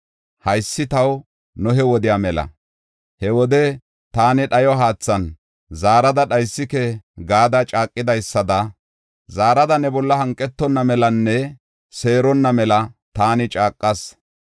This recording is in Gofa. “Haysi taw Nohe wodiya mela; he wode taani dhayo haathan zaarada sa7aa dhaysike gada caaqidaysada, zaarada ne bolla hanqetonna melanne seeronna mela taani caaqas.